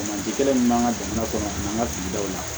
min b'an ka jamana kɔnɔ n'an ka sigidaw la